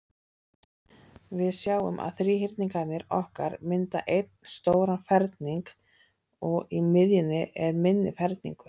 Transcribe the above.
Við sjáum að þríhyrningarnir okkar mynda einn stóran ferning, og í miðjunni er minni ferningur.